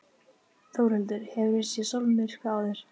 Þórhildur: Hefurðu séð sólmyrkva áður?